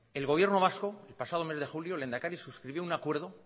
el gobierno vasco el pasado mes de julio el lehendakari suscribió un acuerdo